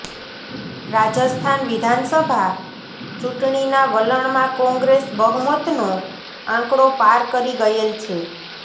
રાજસ્થાન વિધાનસભા ચૂંટણીનાં વલણમાં કોંગ્રેસ બહુમતનો આંકડો પાર કરી ગયેલ છે